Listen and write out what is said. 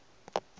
lehlanye o be a re